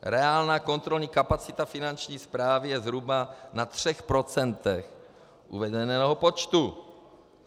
Reálná kontrolní kapacita Finanční správy je zhruba na třech procentech uvedeného počtu.